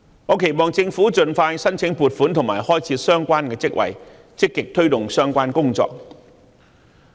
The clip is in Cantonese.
我期望政府盡快申請撥款及開設相關職位，積極推動相關工作。